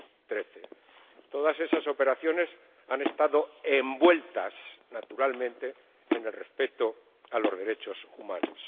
2013. Todas esas operaciones han estado envueltas, naturalmente, en el respeto a los derechos humanos.